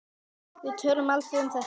Við töluðum aldrei um þetta.